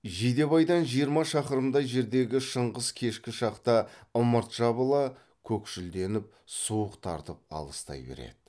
жидебайдан жиырма шақырымдай жердегі шыңғыс кешкі шақта ымырт жабыла көкшілденіп суық тартып алыстай береді